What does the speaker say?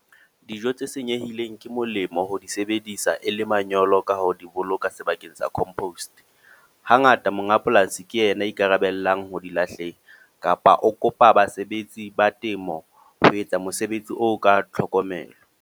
Dijo tse senyehileng, ke molemo ho di sebedisa e le manyolo. Ka ho di boloka sebakeng sa compost. Hangata monga polasi ke ena a ikarabellang ho di lahleng. Kapa o kopa basebetsi ba temo ho etsa mosebetsi o ka tlhokomelo.